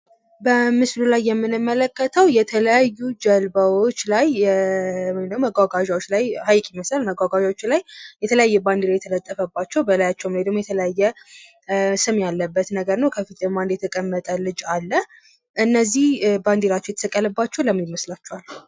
በምስሉ ላይ የምንመለከተው የተለያዩ ጀልባወች ላይ ወይም ድግሞ መጉአጉአዛዎች ላይ ሀይቅ ይመስላል የተለያዩ ባንዲራ የተለጠፈባቸው ከላያቸው ላይ የተላየ ስም ያለበት ነው ነገር ነው ከፊት ደግሞ የተቀመጠ ልጅ ይታያል ::እነዚህ ባንዲራቸው የተሰቀለባቸው ለምን ይመስላቹሃል?